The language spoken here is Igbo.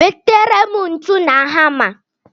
Wetara m ntu na hama!